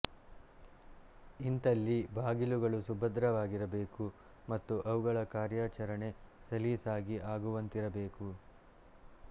ಇಂಥಲ್ಲಿ ಬಾಗಿಲುಗಳು ಸುಭದ್ರವಾಗಿರಬೇಕು ಮತ್ತು ಅವುಗಳ ಕಾರ್ಯಚರಣೆ ಸಲೀಸಾಗಿ ಆಗುವಂತಿರಬೇಕು